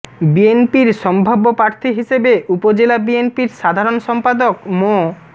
বিএনপির সম্ভাব্য প্রার্থী হিসেবে উপজেলা বিএনপির সাধারণ সম্পাদক মো